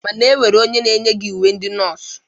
Mana e nwere onye na-eyighi uwe ndị nọọsụ